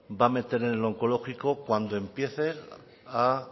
va a meter en el onkologiko cuando empiece a